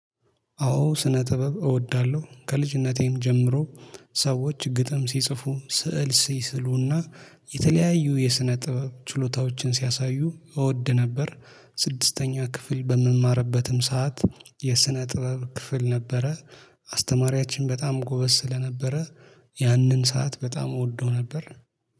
አዎ ስነ ጥበብ እወዳለሁ። ከልጅነቴም ጀምሮ ሰዎች ግጥም ሲጽፉ ስዕል ሲስሉና የተለያዩ የስነ ጥበብ ችሎታዎችን ሲያሳዩ እወድ ነበር። ስድስተኛ ክፍል በምማርበትም ሰዓት የስነ ጥበብ ክፍል ነበረ አስተማሪያችን በጣም ጎበዝ ስለነበረ ያንን ሰዓት በጣም እወደው ነበር።